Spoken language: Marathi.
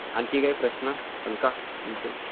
आणखी काही प्रश्न आहेत का तुमचे?